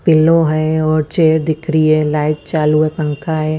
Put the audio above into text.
Pillow हय और chair दिख रही है लाईट चालु है पंखा है।